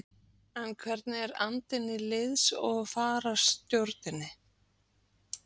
En hvernig er andinn í liðs- og fararstjórninni?